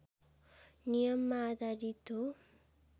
नियममा आधारित हो